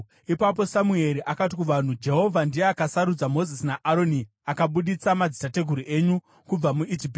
Ipapo Samueri akati kuvanhu, “Jehovha ndiye akasarudza Mozisi naAroni akabudisa madzitateguru enyu kubva muIjipiti.